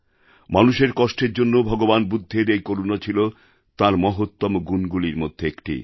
মানুষের কষ্টের জন্য ভগবান বুদ্ধের এই করুণা ছিল তাঁর মহত্তম গুণগুলির মধ্যে একটি